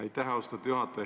Aitäh, austatud juhataja!